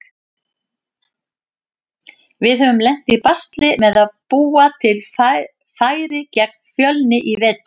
Við höfum lent í basli með að búa til færi gegn Fjölni í vetur.